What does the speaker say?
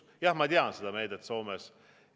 Jah, ma tean seda meedet Soomes.